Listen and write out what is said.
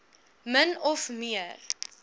min of meer